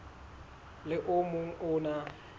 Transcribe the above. le o mong o na